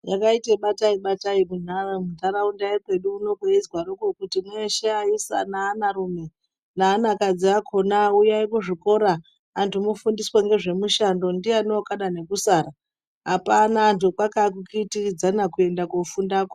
Pakaita batai batai kunharaunda yekwedu uno kweizwaroko kuti mweshe vaisa naanarume aanakadzi akona kuti uyai kuchikoro antu mufundiswe ngezvemushando ndiani akada nekusara apana vantu vakakitiridzana kuenda kofundako .